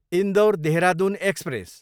Indore, Dehradun express